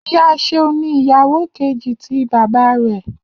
Iya Seun ni iyawo keji ti baba rẹ